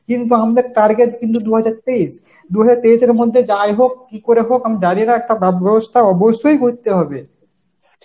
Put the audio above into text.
কিন্তু আমদের targer কিন্তু দুহাজার তেইশ, দুহাজার তেইশের মধ্যে যাই হোক কি করে হোক আমি জানিনা একটা ব্যবস্থা অবশ্যই করতে হবে.